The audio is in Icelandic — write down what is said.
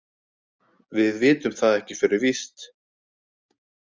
Við vitum það ekki fyrir víst.